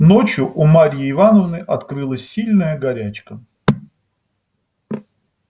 ночью у марьи ивановны открылась сильная горячка